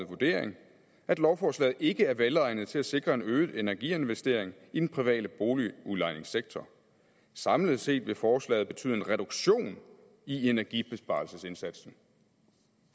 vurdering at lovforslaget ikke er velegnet til at sikre en øget energiinvestering i den private boligudlejningssektor samlet set vil forslaget betyde en reduktion i energibesparelsesindsatsen